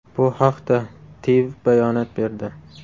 Bu haqda TIV bayonot berdi .